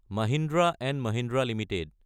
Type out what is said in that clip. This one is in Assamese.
মহিন্দ্ৰা & মহিন্দ্ৰা এলটিডি